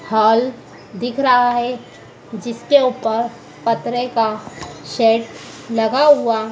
hall दिख रहा है जिसके ऊपर पतरे का शेड लगा हुआ--